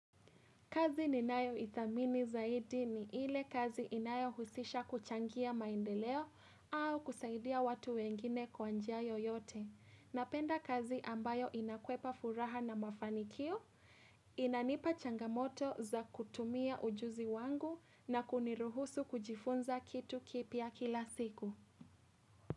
Kazi ni nayoithamini zaidi ni ile kazi inayohusisha kuchangia maendeleo au kusaidia watu wengine kwa njia yoyote. Napenda kazi ambayo inakwepa furaha na mafanikio, inanipa changamoto za kutumia ujuzi wangu na kuniruhusu kujifunza kitu kipya kila siku.